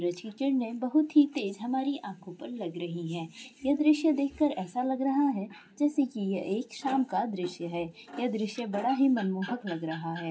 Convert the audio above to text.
बहुत ही तेज हमारी आँखों पर लग रही है ये दृश देख कर ऐसा लग रहा है जैसे की ये श्याम का दृश्य है ये दृश्य बड़ा ही मनमोहक लग रहा है।